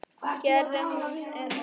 Gerir hún það enn?